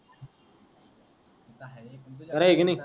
खर आहे कि नाही